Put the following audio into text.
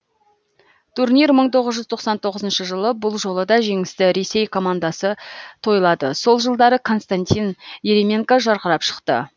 турнир мың тоғыз жүз тоқсан тоғызыншы жылы бұл жолы да жеңісті ресей командасы тойлады сол жылдары константин еременко жарқырап шықты